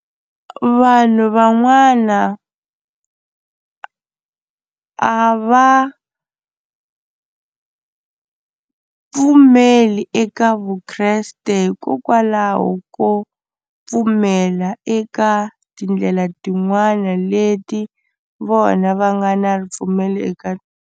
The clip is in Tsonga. Vanhu van'wana a a va pfumeli eka ya vukreste hikokwalaho ko pfumela eka tindlela tin'wani leti vona va nga na ripfumelo eka.